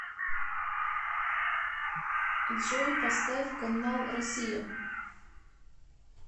джой поставь канал россия